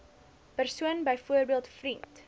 persoon byvoorbeeld vriend